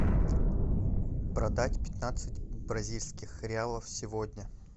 продать пятнадцать бразильских реалов сегодня